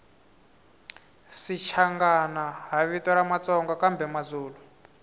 shichangani hhavito ramatsonga kambemazulu